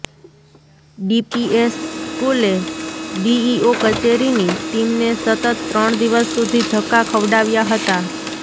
DPS સ્કૂલે DEO કચેરીની ટીમને સતત ત્રણ દિવસ સુધી ધક્કા ખવડાવ્યા હતા